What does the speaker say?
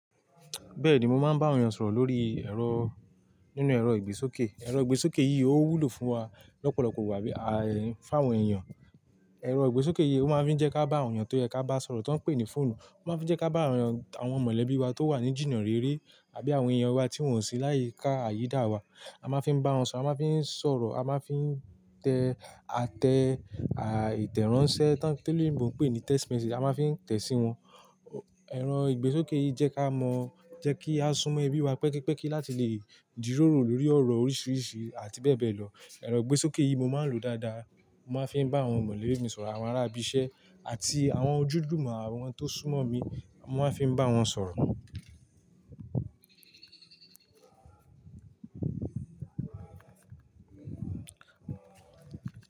Bẹ́ẹ̀ni mo máa ń bá àwọn èèyàn sọ̀rọ̀ lórí ẹ̀rọ nínú ẹ̀rọ ìgbésókè. Ẹ̀rọ ìgbésókè yìí ó wúlò fún wa lọ́pọ̀lọpọ̀ wà á bí fáwọn èèyàn. Ẹ̀rọ ìgbésókè yìí ó máa fi n jẹ́ ká bá àwọn èèyàn tó yẹ ká bá sọ̀rọ̀ tó ń pè ní fóònù. Ó máa ń fi jẹ́ ká bá àwọn èèyàn, àwọn mọ̀lẹ́bí wa tó wà ní jìnnà réré àbí àwọn èèyàn wa tí wọ́n sí láyìí ká àyídà wa. A máa ń fi bá wọn sọ̀rọ̀, a máa ń fi sọ̀rọ̀, a máa ń fi tẹ àtẹ à ìtẹ́ranṣẹ́ tí oloyinbo pè ní text message a máa ń fi ń tẹ sí wọn. Ẹ̀rọ ìgbésókè yìí jẹ́ ká mọ̀ jẹ́ kí a sún mọ ẹbí wa pẹ́kípẹ́kí láti lè jiroro lórí ọ̀rọ̀ oríṣìíríṣìí àti bẹ́ẹ̀ bẹ́ẹ̀ lọ. Ẹ̀rọ ìgbésókè yìí mo máa ń lò dáadáa. Mo máa ń fi ń bá àwọn mọ̀lẹ́bí mi sọ̀rọ̀, àwọn ará ibi iṣẹ́ àti àwọn ojúdùúmọ̀ àwọn tó súnmọ́ mi mo máa ń fi ń bá wọn sọ̀rọ̀.